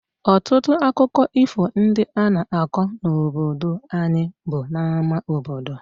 Ọtụtụ akụkọ ifo ndị a na-akọ n’obodo anyị bụ n’ámá obodo.